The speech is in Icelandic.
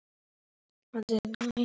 Far vel, frændi minn.